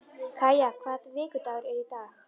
Kaja, hvaða vikudagur er í dag?